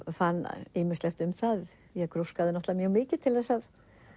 fann ýmislegt um það ég grúskaði mjög mikið til þess að